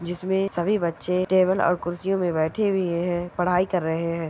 जिस मे सभी बच्चे टेबल और कुर्सियों मे बैठे हुये हैं पढ़ाई कर रहे हैं।